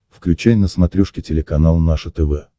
включай на смотрешке телеканал наше тв